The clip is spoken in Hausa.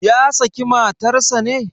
Ya saki matarsa ne?